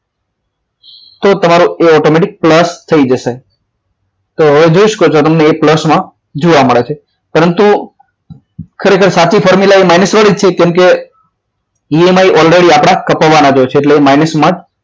તો એ તમારો automative pulse થઈ જશે તો હવે જોઈ શકો છો તમે એ pulse માં જોવા મળે છે પરંતુ ખરેખર સાચી formula minus વાળી છે EMI already આપણા કપાવવાના જ હોય છે mines માં જ